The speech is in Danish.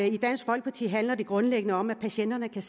i dansk folkeparti handler det grundlæggende om at patienterne kan